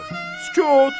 Sükut!